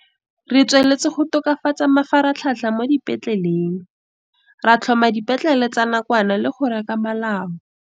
Re tsweletse go tokafatsa mafaratlhatlha mo dipetleleng, ra tlhoma dipetlele tsa nakwana le go reka malao.